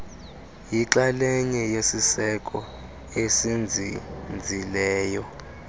yixalenye yesiseko esinzinzileyo